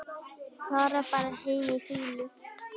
Fara bara heim í fýlu?